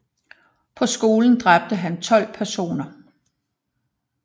På skolen dræbte han 12 personer